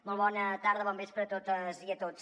molt bona tarda bon vespre a totes i a tots